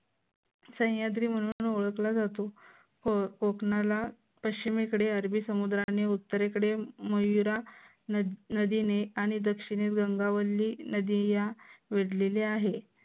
सह्याद्री म्हणून ओळखला जातो. कोकणाला पश्चिमेकडे अरबी समुद्र आणि उत्तरेकडे मयूरा नदीने आणि दक्षिणेत गंगावल्ली नदी यात वेदलेली आहे.